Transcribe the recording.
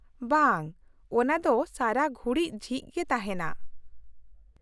-ᱵᱟᱝ ,ᱚᱱᱟ ᱫᱚ ᱥᱟᱨᱟ ᱜᱷᱩᱲᱤᱡ ᱡᱷᱤᱡ ᱜᱮ ᱛᱟᱦᱮᱸᱱᱟ ᱾